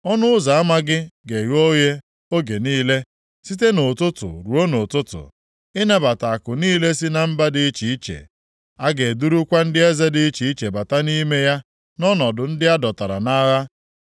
Ọnụ ụzọ ama gị ga-eghe oghe oge niile site nʼụtụtụ ruo nʼụtụtụ, ịnabata akụ niile si na mba dị iche iche. A ga-edurukwa ndị eze dị iche iche bata nʼime ya nʼọnọdụ ndị a dọtara nʼagha.